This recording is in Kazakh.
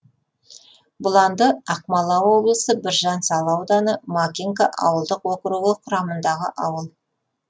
бұланды ақмола облысы біржан сал ауданы макинка ауылдық округі құрамындағы ауыл